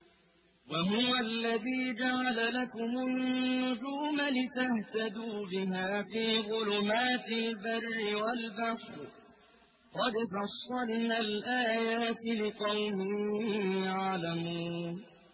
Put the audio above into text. وَهُوَ الَّذِي جَعَلَ لَكُمُ النُّجُومَ لِتَهْتَدُوا بِهَا فِي ظُلُمَاتِ الْبَرِّ وَالْبَحْرِ ۗ قَدْ فَصَّلْنَا الْآيَاتِ لِقَوْمٍ يَعْلَمُونَ